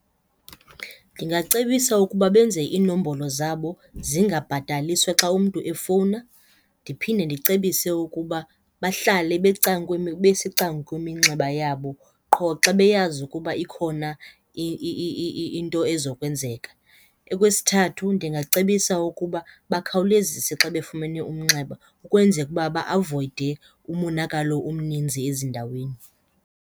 Ndingacebisa ukuba benze iinombolo zabo zingabhataliswa xa umntu efowuna ndiphinde ndicebise ukuba bahlale besecankweminxeba yabo qho xa beyazi ukuba ikhona into ezokwenzeka. Okwesithathu, ndingacebisa ukuba bukhawulezise xa befumene umnxeba ukwenzeka ukuba ba-avoyide umonakalo omninzi ezindaweni.